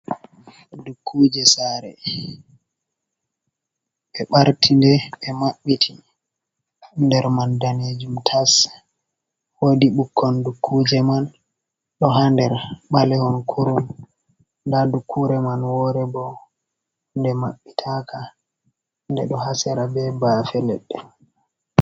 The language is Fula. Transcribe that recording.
Dukuje sare, ɓe ɓartinde ɓe mabbiti nder man danejum tas, woodi ɓukkon dukkuje man ɗo ha nder balehon kurum, nda dukkure man wore bo nde maɓɓitaka nde ɗo hasera be bafe leɗɗe.